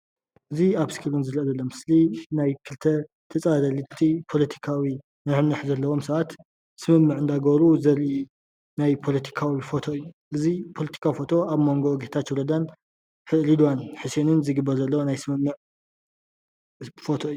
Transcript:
እዚ ኣብ እስክሪን እንሪኦ ዘለና ምስሊ ናይ ክልተ ምስሊ ተፃፀረርቲ ፖለቲካዊ ንሕንሕ ዘለዎም ሰባት ስምምዕ እንዳገበሩ ዘርኢ ናይ ፖለቲካዊ ፎቶ እዩ፡፡ እዚ ፖለቲካዊ ፎቶ ኣብ ሞንጎ ጌተቸው ረዳን ረድዋን ሕስየንን ዝግበር ዘሎ ናይ ስምምዕ ፎቶ እዩ፡፡